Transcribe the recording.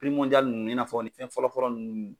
ninnu i n'a fɔ nin fɛn fɔlɔfɔlɔ ninnu.